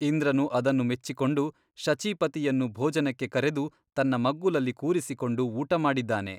ಇಂದ್ರನು ಅದನ್ನು ಮೆಚ್ಚಿಕೊಂಡು ಶಚೀಪತಿಯನ್ನು ಭೋಜನಕ್ಕೆ ಕರೆದು ತನ್ನ ಮಗ್ಗುಲಲ್ಲಿ ಕೂರಿಸಿಕೊಂಡು ಊಟ ಮಾಡಿದ್ದಾನೆ.